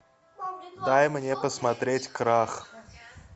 дай мне посмотреть крах